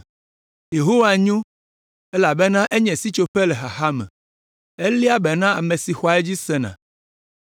Yehowa nyo, elabena enye sitsoƒe le xaxa me! Eléa be na ame si xɔa edzi sena.